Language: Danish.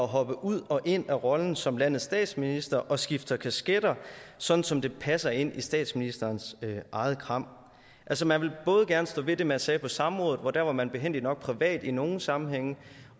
hoppe ud og ind af rollen som landets statsminister og skifter kasketter sådan som det passer ind i statsministerens eget kram altså man vil både gerne stå ved det man sagde på samrådet og der var man behændigt nok privat i nogle sammenhænge